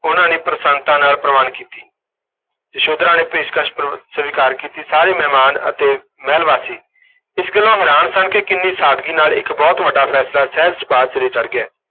ਉਹਨਾਂ ਨੇ ਪ੍ਰਸੰਨਤਾ ਨਾਲ ਪ੍ਰਵਾਨ ਕੀਤੀ, ਯਸ਼ੋਧਰਾ ਨੇ ਪੇਸ਼ਕਸ਼ ਸ ਸਵੀਕਾਰ ਕੀਤੀ, ਸਾਰੇ ਮਹਿਮਾਨ ਅਤੇ ਮਹਿਲਵਾਸੀ ਇਸ ਗੱਲੋਂ ਹੈਰਾਨ ਸਨ ਕਿ ਕਿੰਨੀ ਸਾਦਗੀ ਨਾਲ ਇਕ ਬਹੁਤ ਵੱਡਾ ਫੈਸਲਾ ਸਹਿਜ ਸੁਭਾਅ ਸਿਰੇ ਚੜ੍ਹ ਗਿਆ।